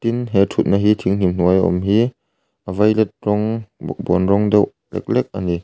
tin he thut na hi thing hnim hnuai a awm hi a violet rawng bawkbawn rawng deuh hlek ani.